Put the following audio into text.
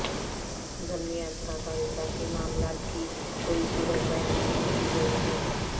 ضمنی اثرات اور اضافی معاملات کی کوئی صورت بیان نہیں کی گئی ہے